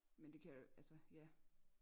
Men det kan altså ja